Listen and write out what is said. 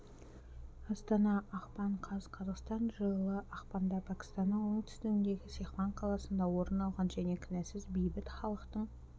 астана ақпан қаз қазақстан жылы ақпанда пәкістанның оңтүстігіндегі сехван қаласында орын алған және кінәсіз бейбіт халықтың